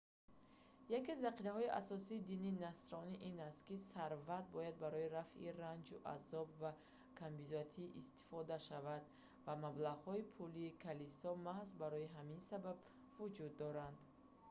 яке аз ақидаҳои асосии дини насронӣ ин аст ки сарват бояд барои рафъи ранҷу азоб ва камбизоатӣ истифода шавад ва маблағҳои пулии калисо маҳз барои ҳамин сабаб вуҷуд доранд